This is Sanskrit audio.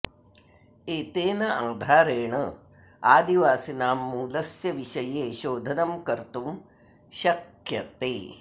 एतेन आधारेण आदिवासिनां मूलस्य विषये शोधनं कर्तुं शक्यते